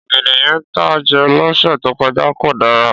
Ọ̀gẹ̀dẹ̀ yẹn tá a jẹ lọ́sẹ̀ tó kọjá kò dára.